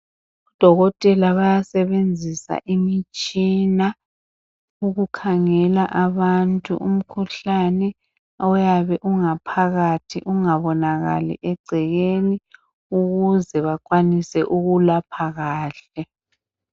Odokotela bayasebenzisa imitshina ukukhangele abantu imikhuhlane oyabe ungaphakathi ungabonakali egcekeni ukuze bakwanise ukuwulapha kahle.